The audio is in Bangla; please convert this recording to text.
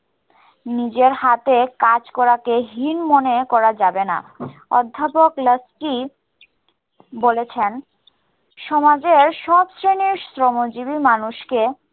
নিজের হাতে কাজ করাকে হীন মনে করা যাবে না। অধ্যাপক লাস্কি বলেছেন, সমাজের সব শ্রেনীর শ্রমজীবী মানুষকে